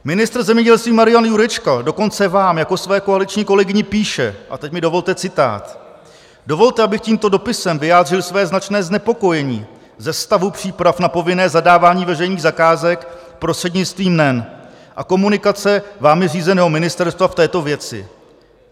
Ministr zemědělství Marian Jurečka dokonce vám jako své koaliční kolegyni píše - a teď mi dovolte citát: Dovolte, abych tímto dopisem vyjádřil své značné znepokojení ze stavu příprav na povinné zadávání veřejných zakázek prostřednictvím NEN a komunikace vámi řízeného ministerstva v této věci.